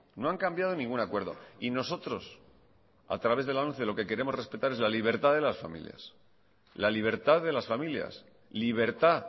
no han cambiado ningún acuerdo y nosotros a través de la lomce lo que queremos respetar es la libertad de las familias la libertad de las familias libertad